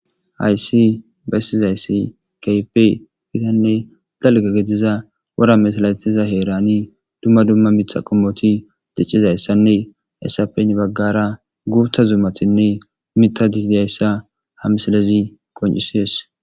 Hays bessizaysi kehippe gitanne dalga wora masatiza herani dumma dumma miththa qomoti dicizayssanne hayssappe heni bagara guththa zumatinne mithati dizayissa ha missilez qoncisses